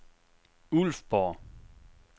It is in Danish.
Ulfborg